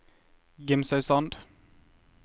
Gimsøysand